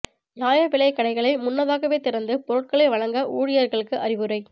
நியாய விலைக் கடைகளை முன்னதாகவே திறந்து பொருள்களை வழங்க ஊழியா்களுக்கு அறிவுரை